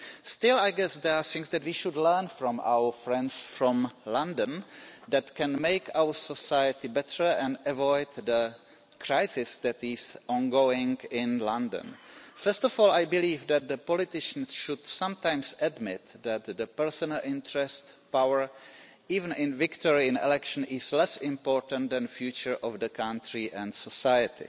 Still, I guess there are things that we should learn from our friends from London that can make our society better and avoid the crisis that is ongoing in London. First of all, I believe that politicians should sometimes admit that personal interest and power even victory in elections are less important than the future of the country and society.